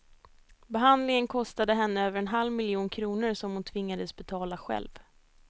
Behandlingen kostade henne över en halv miljon kronor som hon tvingades betala själv.